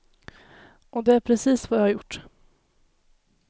Och det är precis vad jag har gjort.